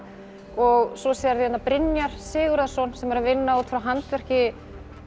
og svo sérðu hérna Brynjar Sigurðarson sem er að vinna út frá handverki